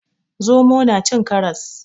Zomo na cin karras.